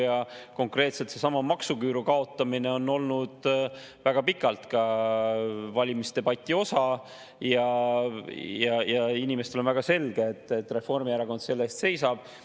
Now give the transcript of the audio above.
Ja konkreetselt seesama maksuküüru kaotamine on olnud väga pikalt ka valimisdebati osa ja inimestele on väga selge, et Reformierakond selle eest seisab.